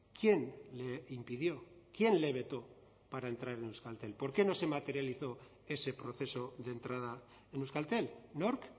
quién le impidió quién le vetó para entrar en euskaltel por qué no se materializó ese proceso de entrada en euskaltel nork